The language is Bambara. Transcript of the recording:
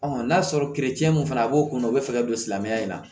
n'a sɔrɔ mun fana b'o kunna o bɛ fɛ ka don silamɛya in na